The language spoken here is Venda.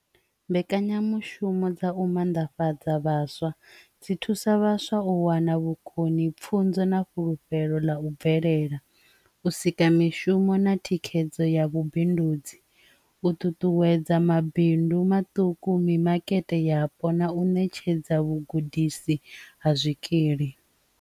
Mbekanyamushumo dza u mannḓafhadza vhaswa dzi thusa vhaswa u wana vhukoni pfhunzo na fhulufhelo ḽa u bvelela u sika mishumo na thikhedzo ya vhubindudzi u ṱuṱuwedza mabindu maṱuku, mimakete yapo na u ṋetshedza vhugudisi ha zwikili.